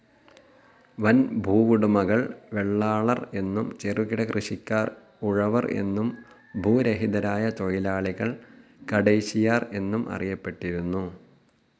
വൻ ഭൂവുടമകൾ വെള്ളാളർ എന്നും, ചെറുകിട കൃഷിക്കാർ ഉഴവർ എന്നും, ഭൂരഹിതരായ തൊഴിലാളികൾ കടൈശിയാർ എന്നും അറിയപ്പെട്ടിരുന്നു.